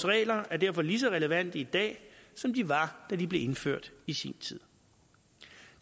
regler er derfor lige så relevante i dag som de var da de blev indført i sin tid